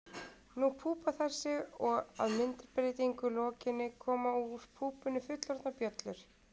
Þá púpa þær sig og að myndbreytingu lokinni koma úr púpunni fullorðnar bjöllur.